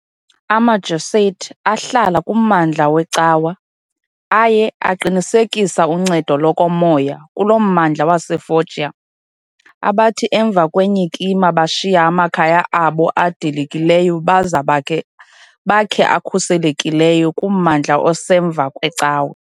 AmaJesuit, ahlala kummandla weCawa, aye aqinisekisa uncedo lokomoya kuloo mmandla waseFoggia, abathi emva kwenyikima bashiya amakhaya abo adilikileyo baza bakhe akhuselekileyo kummandla osemva kweCawa.